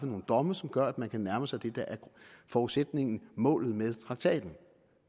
nogle domme som gør at man kan nærme sig det der er forudsætningen for målet med traktaten